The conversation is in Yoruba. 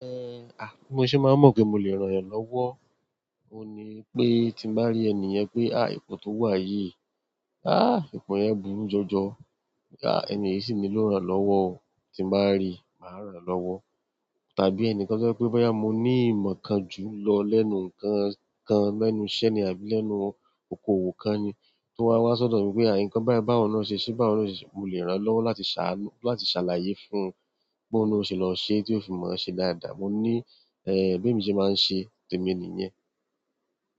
A bí mo ṣe máa mọ̀ pé mo lè ràn yàn lọ́wọ́? Ó ní pé tí mo bá rí ènìyen pé "à ìpọ̀ tó wá yi, à ìpọ̀ yẹn bùru jọjọ, à ènìyí sì nílò iràn lọ́wọ́ o." Tí n bá rí, màá ràn lọ́wọ́. Tàbí ẹnìkan to jẹ́ pé boya mo ní ìmọ̀ kan jù lọ lẹ́nu ǹkan kan lẹ́nu iṣẹ́ ni àbí lẹ́nu okò òwò kan ni, tó wá wá sọ̀dọ̀ mí pé "à nǹkan bái bá wọ náà ṣe ṣé bá wọ náà ṣe ṣe," mo lè ràn lọ́wọ́ láti ṣàlàyé fún un bo oun na ó ṣe lọ ṣe, tí ó fi mọ̀ ṣe dáadáa. Mo ní, eh, bí emi ṣe máa ń ṣe tèmi nìyen.